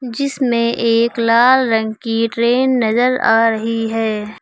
जिसमें एक लाल रंग की ट्रेन नजर आ रही है।